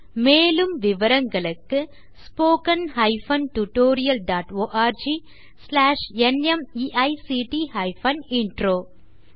மேலும் விவரங்களுக்கு spoken hyphen tutorial dot org slash NMEICT hyphen intro மூல பாடம் தேசி க்ரூ சொலூஷன்ஸ்